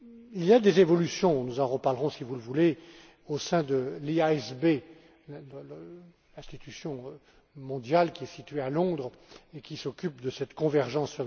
Il y a des évolutions nous en reparlerons, si vous le voulez au sein de l'IASB, institution mondiale qui est située à Londres et qui s'occupe de cette convergence.